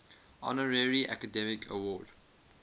honorary academy award